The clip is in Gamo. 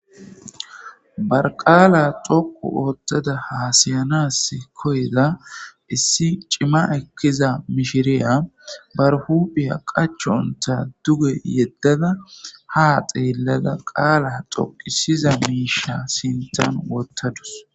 barqaala xoqu oottada haasayanas koyda issi cima ekkiza mishiriya barhuphiya qachonta duge yeddada ha xeellada qaala toqisiza miisha sintan wottadus